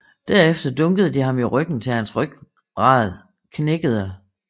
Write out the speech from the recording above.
Derefter dunkede de ham i ryggen til hans ryggrad knækkede